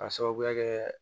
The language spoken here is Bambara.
K'a sababuya kɛ